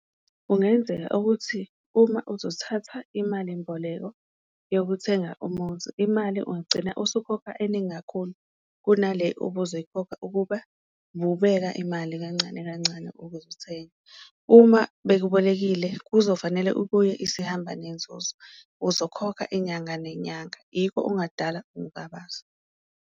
Kungenzeka ukuthi uma uzothatha imalimboleko yokuthenga umuzi imali ungagcina usukhokha eningi kakhulu kunale obuzoyikhokha ukuba ububeka imali kancane kancane ukuze uthenge. Uma bekubolekile kuzofanele ubuye isihamba nenzuzo, uzokhokha inyanga nenyanga yikho okungadala ukungabaza.